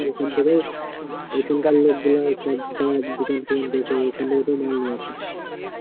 এখানকার লোকগুলা সব যারা দোকান ওখান থেকে তো মাল নিয়ে আসে